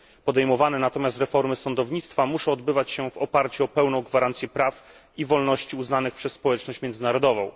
Podejmowane natomiast reformy sądownictwa muszą odbywać się w oparciu o pełną gwarancję praw i wolności uznanych przez społeczność międzynarodową.